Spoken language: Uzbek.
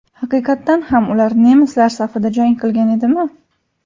Haqiqatan ham ular nemislar safida jang qilgan edimi?